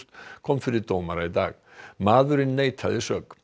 kom fyrir dómara í dag maðurinn neitaði sök